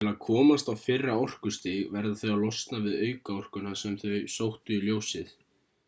til að komast á fyrra orkustig verða þau að losna við aukaorkuna sem þau sóttu í ljósið